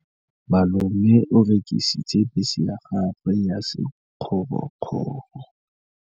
Malome o rekisitse bese ya gagwe ya sekgorokgoro.